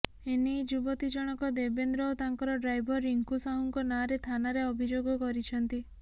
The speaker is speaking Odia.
ଏନେଇ ଯୁବତୀ ଜଣକ ଦେବେନ୍ଦ୍ର ଓ ତାଙ୍କର ଡ୍ରାଇଭର ରିଙ୍କୁ ସାହୁ ନାଁରେ ଥାନାରେ ଅଭିଯୋଗ କରିଛନ୍ତି